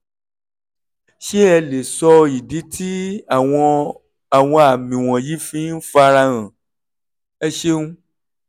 ṣé ẹ lè sọ ìdí tí àwọn àwọn àmì wọ̀nyí fi ń farahàn? ẹ ṣeun